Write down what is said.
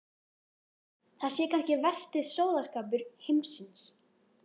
Það sé kannski versti sóðaskapur heimsins.